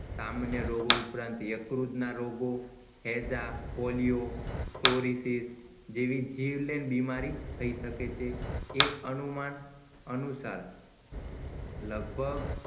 સામાન્ય રોગો ઉપરાંત યકૃતના રોગો heja polio fluorosis જેવી જીવલેણ બીમારી થઈ શકે છે એક અનુમાન અનુસાર લગભગ